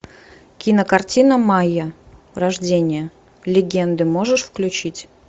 кинокартина майя рождение легенды можешь включить